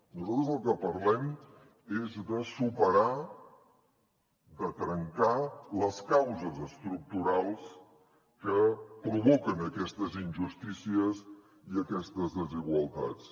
nosaltres del que parlem és de superar de trencar les causes estructurals que provoquen aquestes injustícies i aquestes desigualtats